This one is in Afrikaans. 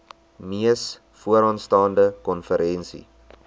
mees vooraanstaande konferensie